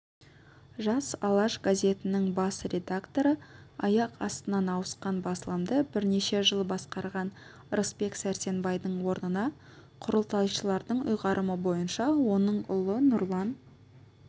жас алаш газетінің бас редакторы аяқ астынан ауысқан басылымды бірнеше жыл басқарған рысбек сәрсенбайдың орнына құрылтайшылардың ұйғарымы бойынша оның ұлы нұрлан